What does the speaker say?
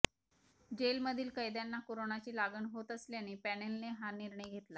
जेलमधील कैद्यांना कोरोनाची लागण होत असल्याने पॅनेलने हा निर्णय घेतलाय